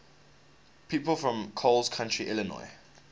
people from coles county illinois